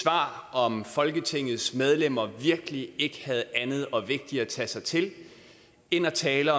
om folketingets medlemmer virkelig ikke havde andet og vigtigere at tage sig til end at tale